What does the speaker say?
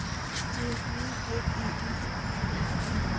Ertu mikið í íþróttum?